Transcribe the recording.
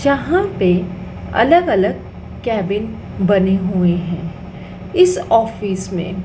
जहां पे अलग अलग केबिन बने हुए है इस ऑफिस में।